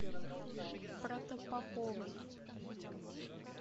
протопоповой